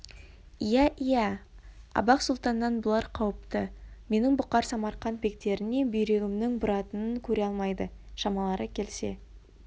иә иә абақ сұлтаннан бұлар қауіпті менің бұқар самарқант бектеріне бүйрегімнің бұратынын көре алмайды шамалары келсе